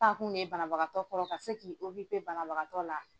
Taakun de ye banabagatɔ kɔrɔ ka se k'i banabagatɔ la.